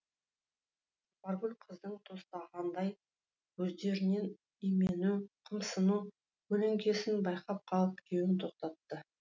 жұпаргүл қыздың тостағандай көздерінен имену қымсыну көлеңкесін байқап қалып күйеуін тоқтатты